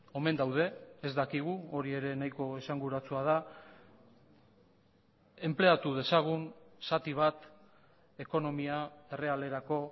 omen daude ez dakigu hori ere nahiko esanguratsua da enpleatu dezagun zati bat ekonomia errealerako